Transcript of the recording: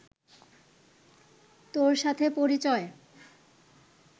তোর সাথে পরিচয়